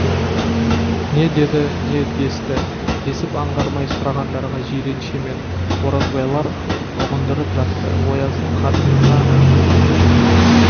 не деді не десті десіп аңғармай сұрағандарға жиренше мен оразбайлар ұғындырып жатты ояздың қатынына шейін көтек